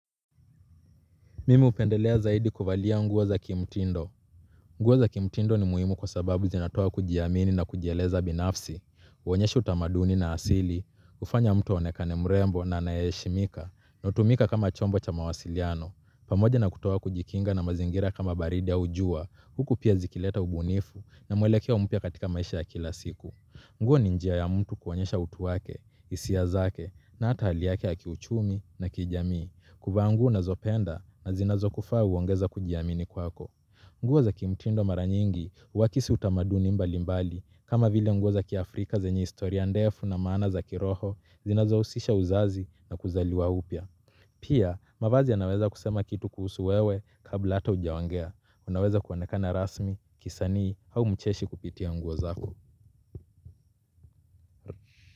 Mimi hupendelea zaidi kuvalia nguo za kimtindo. Nguo za kimtindo ni muhimu kwa sababu zinatoa kujiamini na kujieleza binafsi, uonyesha utamaduni na asili, ufanya mtu aonekane mrembo na anayeheshimika, na hutumika kama chombo cha mawasiliano, pamoja na kutoa kujikinga na mazingira kama baridi au jua, huku pia zikileta ubunifu na mwelekeo mpya katika maisha ya kila siku. Nguo ni njia ya mtu kuonyesha utu wake, isia zake, na ata hali yake ya kiuchumi na kijamii, kuvaa nguo unazopenda na zinazokufaa uongeza kujiamini kwako. Nguo za kimtindo mara nyingi, uakisi utamaduni mbalimbali, kama vile nguo za Kiafrika zenye historia ndefu na maana za kiroho, zinazousisha uzazi na kuzaliwa upya. Pia, mavazi yanaweza kusema kitu kuhusu wewe kabla ata ujaongea, unaweza kuonekana rasmi, kisanii, hau mcheshi kupitia nguo zako.